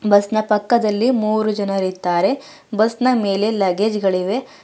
Bus ನ ಪಕ್ಕದಲ್ಲಿ ಮೂರು ಜನರಿದ್ದಾರೆ ಬಸ್ ನ ಮೇಲೆ ಲಗ್ಗೇಜ್ ಗಳಿವೆ.